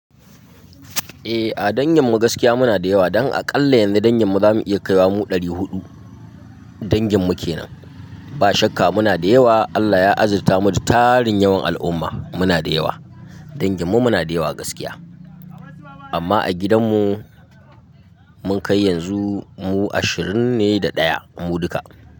Eh, a danginmu gaskiya muna da yawa. Don aƙalla yanzu danginmu za mu iya kaiwa mu ɗari huɗu danginmu ke nan. Ba shakka muna da yawa. Allah ya azirtamu da tarin yawan al'umma. Muna da yawa. Danginmu muna da yawa gaskiya. Amma a gidanmu, mun kai yanzu mu ashirin ne da ɗaya mu duka.